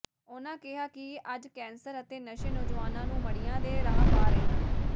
ਉਨ੍ਹਾਂ ਕਿਹਾ ਕਿ ਅੱਜ ਕੈਂਸਰ ਅਤੇ ਨਸ਼ੇ ਨੌਜਵਾਨਾਂ ਨੂੰ ਮਡ਼੍ਹੀਆਂ ਦੇ ਰਾਹ ਪਾ ਰਹੇ ਹਨ